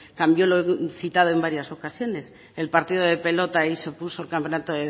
cambió lo citado en varias ocasiones el partido de pelota y se puso el campeonato